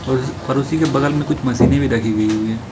और और उसी के बगल में कुछ मशीनें भी रखी गई हुई है।